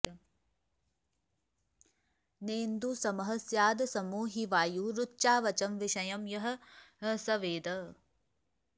नेन्दुः समः स्यादसमो हि वायु रुच्चावचं विषयं यः स वेद